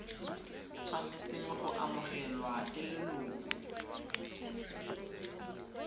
tshwanetseng go amogelwa ke leloko